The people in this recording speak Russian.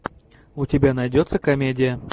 у тебя найдется комедия